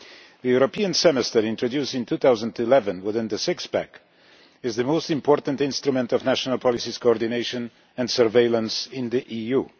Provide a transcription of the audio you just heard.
The European Semester, introduced in 2011 within the Six-pack, is the most important instrument for national policy coordination and surveillance in the EU.